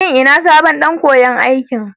Shin ina sabon ɗan koyan aikin?